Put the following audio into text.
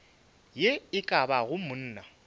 ye e ka bago monna